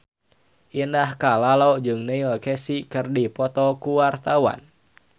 Indah Kalalo jeung Neil Casey keur dipoto ku wartawan